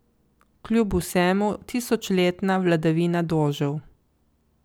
Kljub vsemu tisočletna vladavina dožev.